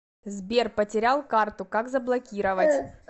сбер потерял карту как заблокировать